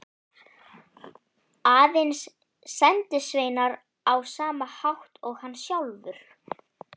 Aðeins sendisveinar á sama hátt og hann sjálfur.